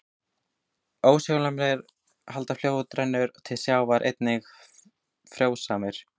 Óshólmarnir, þar sem fljótið rennur til sjávar, eru einnig mjög frjósamir.